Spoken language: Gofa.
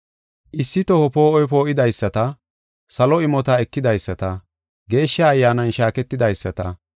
Issi toho poo7oy poo7idaysata, salo imota ekidaysata, Geeshsha Ayyaanan shaaketidaysata,